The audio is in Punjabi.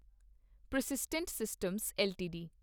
persistent systems LTD